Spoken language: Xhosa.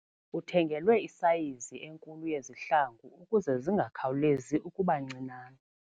Uthengelwe isayizi enkulu yezihlangu ukuze zingakhawulezi ukuba ncinane.